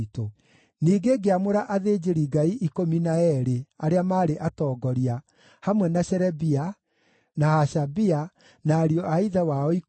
Ningĩ ngĩamũra athĩnjĩri-Ngai ikũmi na eerĩ arĩa maarĩ atongoria, hamwe na Sherebia, na Hashabia, na ariũ a ithe wao ikũmi,